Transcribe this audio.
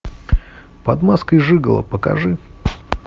под маской жиголо покажи